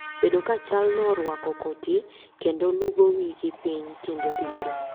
bedo ka chal no orwako koti kendo lugo wigi piny kinde duto